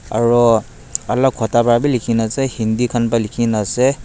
aro alak khota pa bi likhina ase Hindi khan pa likhina ase.